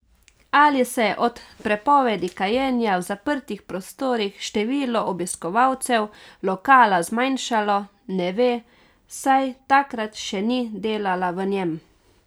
Ali se je od prepovedi kajenja v zaprtih prostorih število obiskovalcev lokala zmanjšalo, ne ve, saj takrat še ni delala v njem.